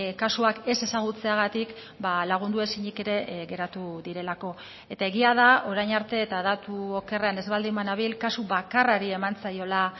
kasuak ez ezagutzeagatik lagundu ezinik ere geratu direlako eta egia da orain arte eta datu okerrean ez baldin banabil kasu bakarrari eman zaiola